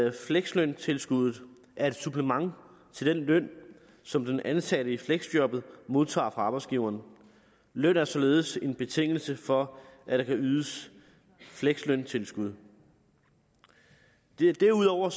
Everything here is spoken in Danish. at fleksløntilskuddet er et supplement til den løn som den ansatte i fleksjobbet modtager fra arbejdsgiveren løn er således en betingelse for at der kan ydes fleksløntilskud derudover